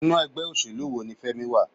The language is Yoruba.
Inú ẹgbẹ́ òṣèlú wo ní Femi wà?